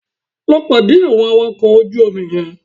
Lọ pàdé àwọn awakọ̀ ojú omi yẹn